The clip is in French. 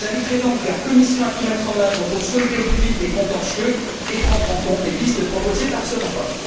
J'inviterais donc la Commission à tout mettre en œuvre pour solder au plus vite les contentieux et prendre en compte les pistes proposées par ce rapport.